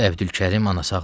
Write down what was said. Əbdülkərim.